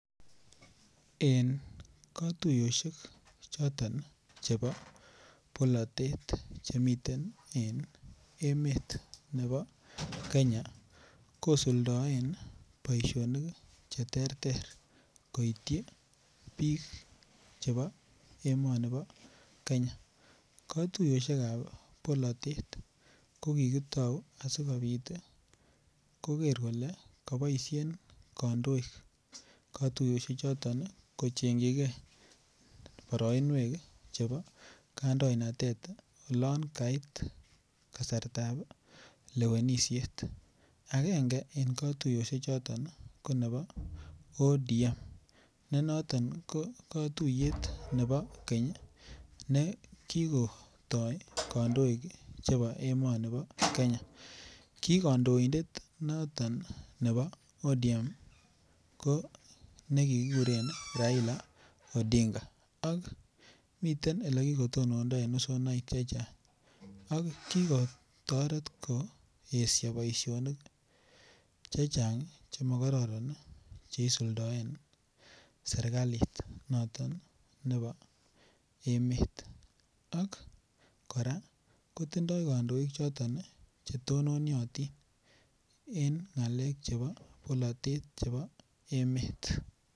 En katuyosyek choton chebo bolotet Che miten en emet nebo Kenya kosuldaen boisinik Che terter koityi bik chebo emoni bo Kenya katuyosyek ab bolatet ko kitou asikobit koger kole koboisien kandoik katuyosiechoto kochengchijigei boroinwek chebo kandoinatet oloon kait kasartab lewenisiet agenge en katuyosiechoto ko nebo ODM ne noton ko katuiyet nebo keny ne kigotoi kandoik chebo emoni bo Kenya ki kandoindet noton nebo ODM ko nekikuren Raila odinga ak miten Ole kikotonondo en usonaik Che Chang ki kotoret koesio boisionik Che Chang Che mo karoron Che isuldoen serkalit noton nebo emet ak kora kotindoi kandoik choton Che tononyotin en ngalek Che chebo bolotet chebo emet